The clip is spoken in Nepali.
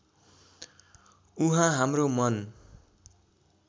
उहाँ हाम्रो मन